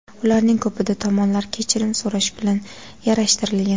Ularning ko‘pida tomonlar kechirim so‘rash bilan yarashtirilgan.